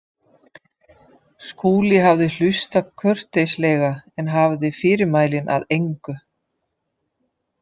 Skúli hafði hlustað kurteislega en hafði fyrirmælin að engu.